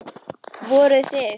Voruð þið.